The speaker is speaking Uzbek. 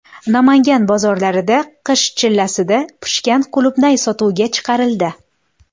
Namangan bozorlarida qish chillasida pishgan qulupnay sotuvga chiqarildi.